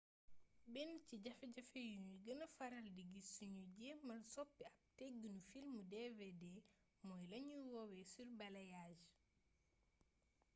benn ci jafe-jafe yuñuy gëna faral di gis suñuy jéemal soppi ab tëggiinu filmu dvd mooy lañuy woowee surbalayage